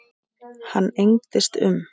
Hann engdist um.